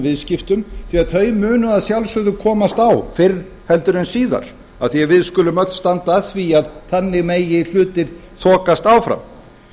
viðskiptum því að þau munu að sjálfsögðu komast á fyrr heldur en síðar af því að við skulum öll standa að því að þannig með hlutir þokast áfram